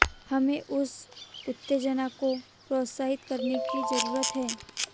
हमें उस उत्तेजना को प्रोत्साहित करने की जरूरत है